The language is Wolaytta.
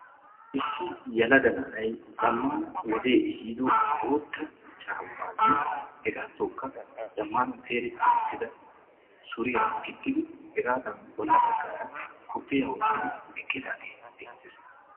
Issi yelaga na'ay zamaana wodee ehiido boota caamanne hegaatokka zamaana peereti uttida suriya gixxidi hegaadan bolla bagaara kopoyiya wottidi eqqidaagee beettees.